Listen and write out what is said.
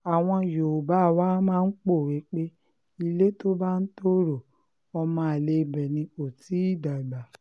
àwọn yòówbà máa ń pòwe pé ilé tó bá ń tọrọ ọmọ àlè ibẹ̀ ni kò tì í dàgbà